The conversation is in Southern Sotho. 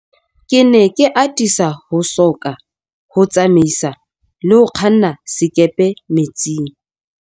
Ke ne ke atisa ho soka ho tsamaisa le ho kganna sekepe metsing.